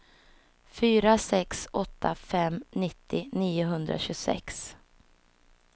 fyra sex åtta fem nittio niohundratjugosex